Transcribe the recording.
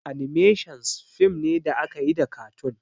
"Animations" fim ne da akayi da katun